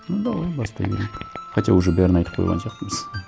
ну давай бастай берейік хотя уже бәрін айтып қойған сияқтымыз